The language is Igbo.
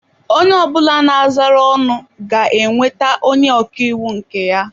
Onye ọ bụla na-azara ọnụ ga-enweta onye ọka iwu nke ya.